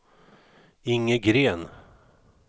Inge Green